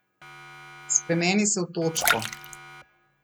Spremeni se v točko.